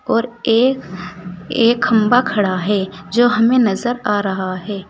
और एक एक खंभा खड़ा है जो हमें नजर आ रहा है।